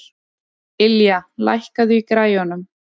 Ylja, lækkaðu í græjunum.